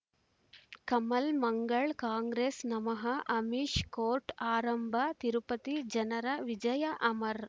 ಕಮಲ್ ಮಂಗಳ್ ಕಾಂಗ್ರೆಸ್ ನಮಃ ಅಮಿಷ್ ಕೋರ್ಟ್ ಆರಂಭ ತಿರುಪತಿ ಜನರ ವಿಜಯ ಅಮರ್